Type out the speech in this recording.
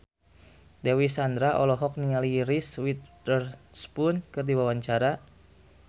Dewi Sandra olohok ningali Reese Witherspoon keur diwawancara